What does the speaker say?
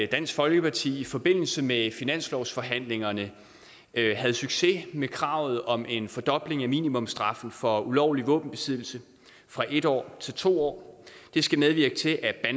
dansk folkeparti i forbindelse med finanslovsforhandlingerne havde succes med kravet om en fordobling af minimumsstraffen for ulovlig våbenbesiddelse fra en år til to år det skal medvirke til at